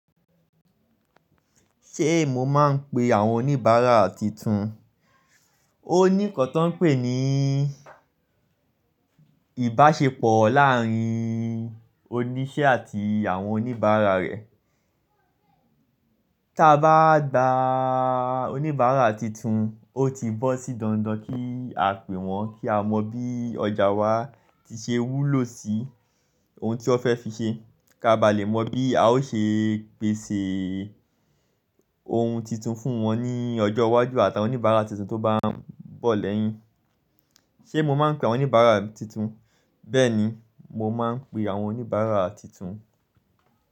Ṣé mo máa ń pe àwọn oníbàárà titun? Ó ní nnkan tó ń pè ní ìbáṣepọ̀ láàárín òníṣẹ́ àti àwọn oníbàárà rẹ̀. Tí a bá gba a oníbàárà tuntun, ó ti bọ́ sí dandan kí á pè wọ́n kí a mọ bí ọjà wa ti ṣe wúlò sí ohun tí wọ́n fẹ́ fi ṣe. Kaa bá lè mọ bí a ó ṣe pèsè ohun titun fún wọn ní ọjọ́ iwájú àtà won oníbàárà tuntun tó bá ń bọ̀ lẹ́yìn. Ṣé mo máa ń pe àwọn oníbàárà tuntun? Bẹ́ẹ̀ni, mo máa ń pe àwọn oníbàárà tuntun.